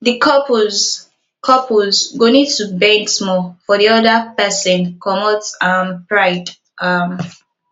di couples couples go need to bend small for di oda person comot um pride um